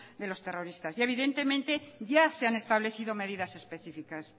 de los terroristas y evidentemente ya se han establecido medidas específicas